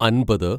അൻപത്